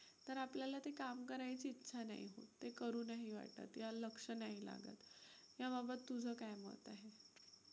तर आपल्याला ते काम करायची इच्छा नाही होत. ते करू नाही वाटत. या लक्ष नाही लागत, याबाबत तुझं काय मत आहे?